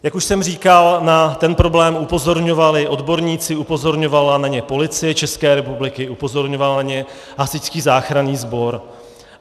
Jak už jsem říkal, na ten problém upozorňovali odborníci, upozorňovala na ně Policie České republiky, upozorňoval na ně Hasičský záchranný sbor.